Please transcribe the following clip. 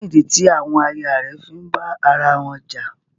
Kí nídí tí àwọn àyà rẹ̀ fí ń bá ara wọn jà?